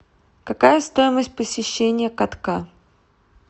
какая стоимость посещения катка